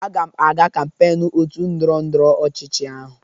Aga m aga kampeiñ otu ndọrọ ndọrọ ọchịchị ahụ